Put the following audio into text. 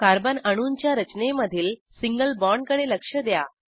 carbon अणूंच्या रचनेमधील single बाँडकडे लक्ष द्या